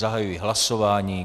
Zahajuji hlasování.